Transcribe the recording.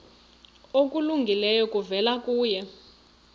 okulungileyo kuvela kuye